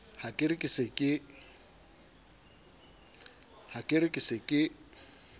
ha ke re ke se